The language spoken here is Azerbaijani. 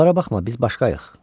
Onlara baxma, biz başqayıq.